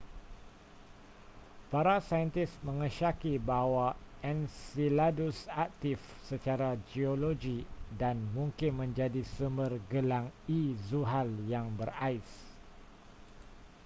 para saintis mengesyaki bahawa enceladus aktif secara geologi dan mungkin menjadi sumber gelang e zuhal yang berais